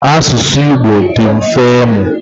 Asụsụ Igbo dị mfe ịmụ.